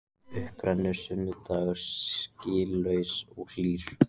Upp rennur sunnudagur skýlaus og hlýr.